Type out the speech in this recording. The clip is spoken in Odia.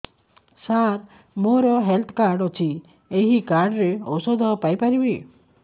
ସାର ମୋର ହେଲ୍ଥ କାର୍ଡ ଅଛି ଏହି କାର୍ଡ ରେ ଔଷଧ ପାଇପାରିବି